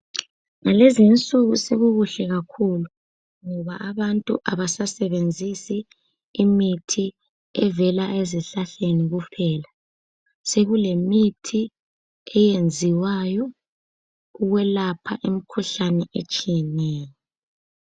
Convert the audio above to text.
Lezinsuku sokukuhle kakhulu ngoba abantu abasasebenzisi imithi evela ezihlahleni kuphela sokulemithi eyenziwayo ukwelapha imikhuhlane etshiyeneyo.